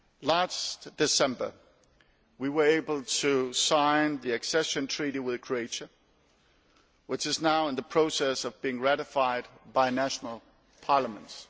Last December we were able to sign the accession treaty with Croatia, which is now in the process of being ratified by national parliaments.